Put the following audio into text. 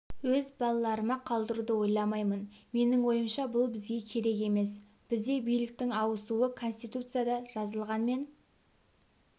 өз балаларыма қалдыруды ойламаймын менің ойымша бұл бізге керек емес бізде биліктің ауысуы конституцияда жазылған мен